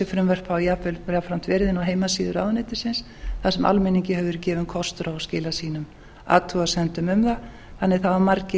hafa jafnframt verið inni á heimasíðu ráðuneytisins þar sem almenningi hefur verið gefinn kostur að skila sínum athugasemdum um það þannig að það hafa margir